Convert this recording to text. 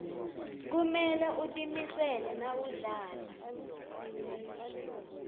kumele utimisele nawudlala